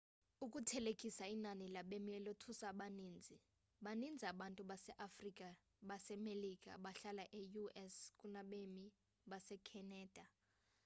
ukuthelekisa inani labemi elothusa abaninzi baninzi abantu base-afrika basemelika abahlala e-us kunabemi base canada